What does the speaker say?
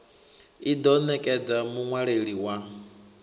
i ḓo nekedza muṅwaleli wa